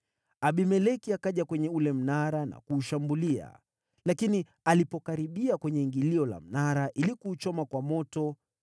Abimeleki akaja kwenye ule mnara na kuushambulia, lakini alipokaribia kwenye ingilio la mnara ili kuuchoma kwa moto,